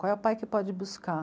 Qual é o pai que pode buscar?